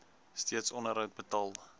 steeds onderhoud betaal